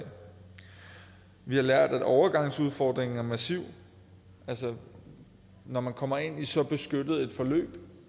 vi har lært at overgangsudfordringen er massiv altså når man kommer ind i så beskyttet et forløb